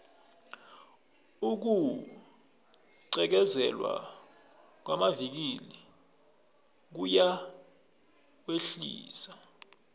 ukugqekezelwa kwamavikili kuyawehlisa